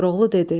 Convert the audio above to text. Koroğlu dedi: